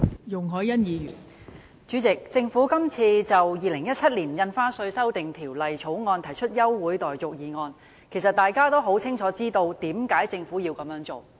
代理主席，政府今次就《2017年印花稅條例草案》提出休會待續的議案，其實大家也清楚知道為何政府要這樣做。